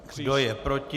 Kdo je proti?